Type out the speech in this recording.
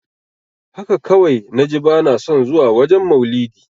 Haka kawai naji bana son zuwa wajen maulidi.